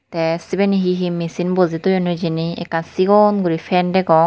Te sibeni he he machine bojey toyon hijeni ekan sigon gori fan degong.